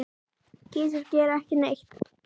Kisur gera ekki neitt.